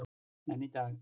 En í dag.